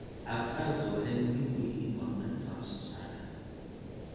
Cagaf-cagaftu waxay muhiim u yihiin horumarinta wax soo saarka.